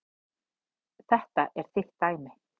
Þetta er þitt dæmi.